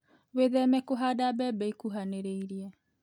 Wĩtheme kũhanda mbembe ikuhanĩrĩirie.